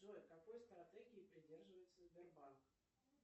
джой какой стратегии придерживается сбербанк